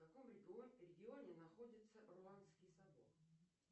в каком регионе находится руанский собор